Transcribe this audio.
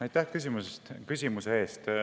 Aitäh küsimuse eest!